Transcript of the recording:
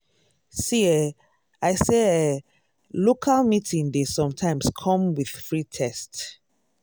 see eh i say eeh local meeting dey sometimes come with free test.